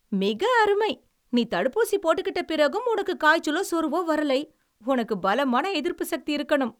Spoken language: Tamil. மிக அருமை! நீ தடுப்பூசி போட்டுக்கிட்ட பிறகும், உனக்கு காய்ச்சலோ சோர்வோ வரலை. உனக்கு பலமான எதிர்ப்புசக்தி இருக்கணும்.